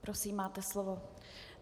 Prosím, máte slovo.